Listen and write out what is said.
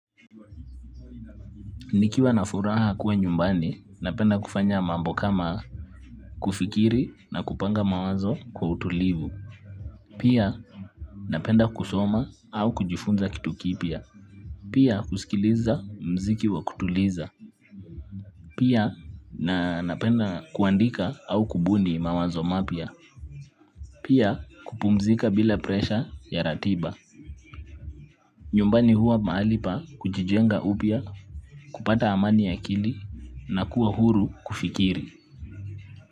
Nikiwa na furaha kuwa nyumbani, napenda kufanya mambo kama kufikiri, na kupanga mawazo kwa utulivu pia, napenda kusoma au kujifunza kitu kipya. Pia, husikiliza muziki wa kutuliza pia, napenda kuandika au kubuni mawazo mapya. Pia kupumzika bila presha ya ratiba. Nyumbani huwa mahalipa kujijenga upya, kupata amani ya akili na kuwa huru kufikiri.